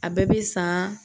A bɛɛ bɛ san